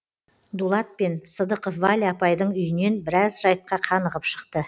дулат пен сыдықов валя апайдың үйінен біраз жайтқа қанығып шықты